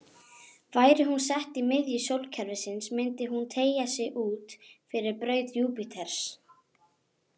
Væri hún sett í miðju sólkerfisins myndi hún teygja sig út fyrir braut Júpíters.